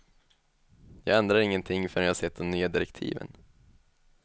Jag ändrar ingenting förrän jag har sett de nya direktiven.